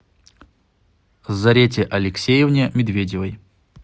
зарете алексеевне медведевой